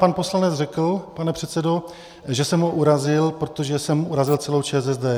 Pan poslanec řekl, pane předsedo, že jsem ho urazil, protože jsem urazil celou ČSSD.